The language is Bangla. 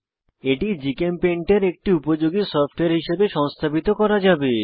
এটি জিচেমপেইন্ট এটি একটি উপযোগী সফটওয়্যার হিসাবে সংস্থাপিত করা যাবে